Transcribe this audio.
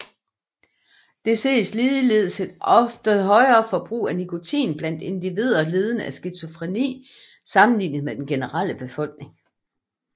Der ses ligeledes et højere forbrug af nikotin blandt individer lidende af skizofreni sammenlignet med den generelle befolkning